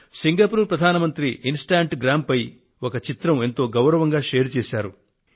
Singapore ప్రధాని Instagram పై ఒక చిత్రాన్ని ఎంతో గౌరవంగా షేర్ చేశారు